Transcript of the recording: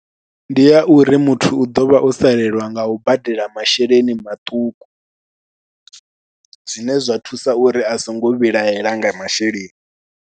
Ndi a uri muthu u ḓo vha o salelwa nga u badela masheleni maṱuku, zwine zwa thusa uri a songo vhilahela nga masheleni.